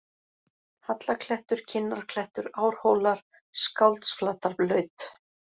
Hallaklettur, Kinnarklettur, Árhólar, Skáldsflatarlaut